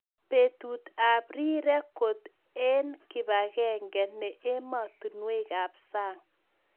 Petut ab rirek kot eng kipagenge ne emotinwek ab sang.